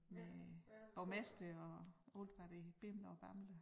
Med borgmester og alt hvad det bimler og bamler